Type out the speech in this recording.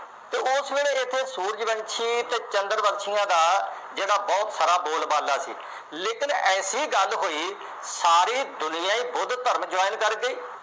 ਅਤੇ ਉਸ ਵੇਲੇ ਇੱਥੇ ਸੂਰਜਵੰਸ਼ੀ ਅਤੇ ਚੰਦਰਵਾਸੀਆਂ ਦਾ ਜਿਹੜਾ ਬਹੁਤ ਸਾਰਾ ਬੋਲਬਾਲਾ ਸੀ। ਲੇਕਿਨ ਐਸੀ ਗੱਲ ਹੋਈ ਸਾਰੀ ਦੁਨੀਆ ਹੀ ਬੁੱਧ ਧਰਮ join ਕਰ ਗਈ।